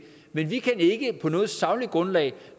men vi kan ikke på noget sagligt grundlag